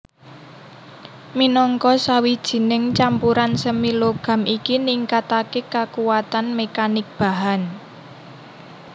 Minangka sawijining campuran semi logam iki ningkataké kakuatan mekanik bahan